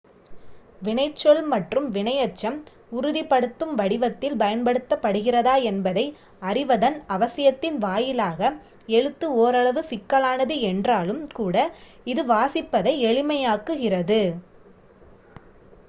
வினைச்சொல் மற்றும் வினையெச்சம் உறுதிப்படுத்தும் வடிவத்தில் பயன்படுத்தப்படுகிறதா என்பதை அறிவதன் அவசியத்தின் வாயிலாக எழுத்து ஓரளவு சிக்கலானது என்றாலும் கூட இது வாசிப்பதை எளிமையாக்குகிறது